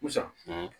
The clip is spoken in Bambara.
Busan